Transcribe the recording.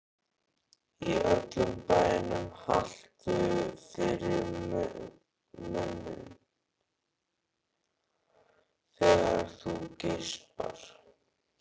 Í öllum bænum haltu fyrir munninn þegar þú geispar.